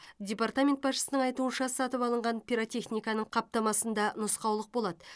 департамент басшысының айтуынша сатып алынған пиротехниканың қаптамасында нұсқаулық болады